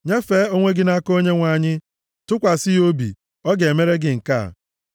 Nyefee onwe gị nʼaka Onyenwe anyị; tụkwasị ya obi, ọ ga-emere gị nke a: